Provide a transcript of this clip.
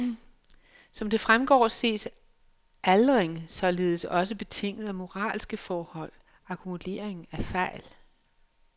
Som det fremgår ses aldring således også betinget af moralske forhold, akkumulering af fejl.